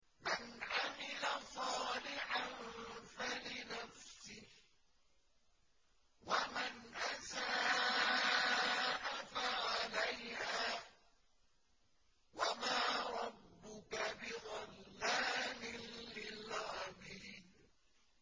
مَّنْ عَمِلَ صَالِحًا فَلِنَفْسِهِ ۖ وَمَنْ أَسَاءَ فَعَلَيْهَا ۗ وَمَا رَبُّكَ بِظَلَّامٍ لِّلْعَبِيدِ